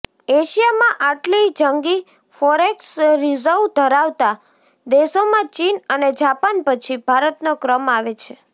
એશિયામાં આટલી જંગી ફોરેક્સ રિઝર્વ ધરાવતા દેશોમાં ચીન અને જાપાન પછી ભારતનો ક્રમ આવે છે